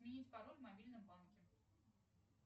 сменить пароль в мобильном банке